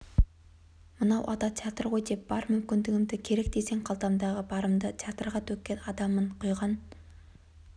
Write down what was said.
мынау ата театр ғой деп бар мүмкіндігімді керек десең қалтамдағы барымды театрға төккен адаммын құйған